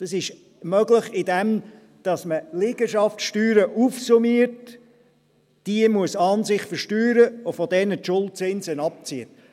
Das ist möglich, indem man Liegenschaftssteuern aufsummiert – diese muss man an sich versteuern – und von diesen die Schuldzinsen abzieht.